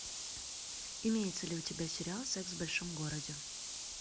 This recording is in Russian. имеется ли у тебя сериал секс в большом городе